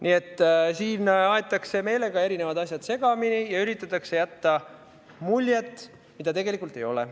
Nii et siin aetakse meelega erinevad asjad segamini ja üritatakse jätta muljet millestki, mida tegelikult ei ole.